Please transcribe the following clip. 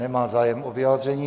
Nemá zájem o vyjádření.